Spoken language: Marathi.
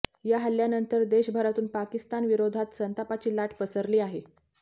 या हल्ल्यानंतर देशभरातून पाकिस्तानविरोधात संतापाची लाट पसरली आहे